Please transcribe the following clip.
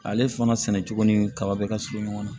Ale fana sɛnɛ cogo ni kaba bɛ ka surun ɲɔgɔn na